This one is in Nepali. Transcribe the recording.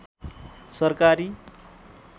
सरकारी